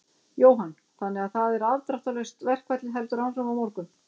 Jóhann: Þannig að það er afdráttarlaust, verkfallið heldur áfram á morgun?